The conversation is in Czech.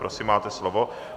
Prosím, máte slovo.